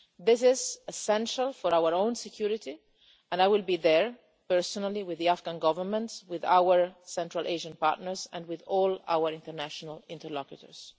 This is essential for our own security, and I will be there, personally, with the Afghan Government, with our Central Asian partners and with all our international interlocutors.